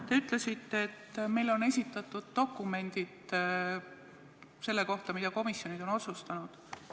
Te ütlesite, et meile on esitatud dokumendid selle kohta, mida komisjonid on otsustanud.